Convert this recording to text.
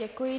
Děkuji.